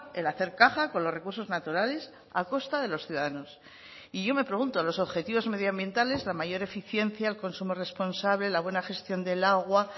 el hacer caja con los recursos naturales a costa de los ciudadanos y yo me pregunto los objetivos medioambientales la mayor eficiencia el consumo responsable la buena gestión del agua